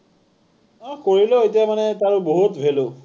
অ, কৰিলেও এতিয়া মানে তাৰ বহুত value